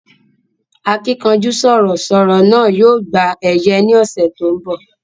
Akínkanjú sọ̀rọ̀ sọ̀rọ̀ náà yóò gba ẹ̀yẹ ní ọ̀sẹ̀ tí ó ń bọ̀